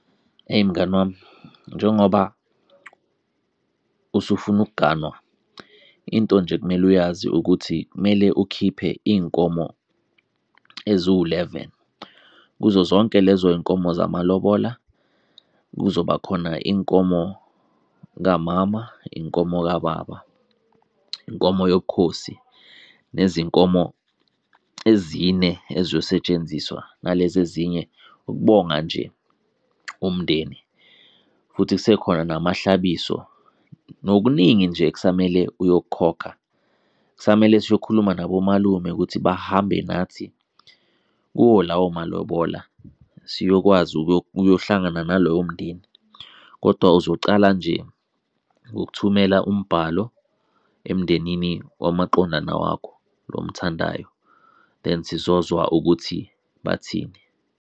Eyi mngani wami, njengoba usufuna ukuganwa, into nje ekumele uyazi ukuthi kumele ukhiphe iy'nkomo eziwuleveni. Kuzo zonke lezo y'nkomo zamalobola, kuzoba khona inkomo kamama, inkomo kababa, inkomo yobukhosi nezinkomo ezine eziyosetshenziswa nalezi ezinye ukubonga nje umndeni. Futhi kusekhona namahlabiso, nokuningi nje okusamele uyokukhokha. Kusamele siyokhuluma nabomalume ukuthi bahambe nathi kuwo lawo malobola, siyokwazi ukuyohlangana nalowo mndeni. Kodwa uzocala nje ngokuthumela umbhalo emndenini wamaqondana wakho lo omthandayo, then sizozwa ukuthi bathini.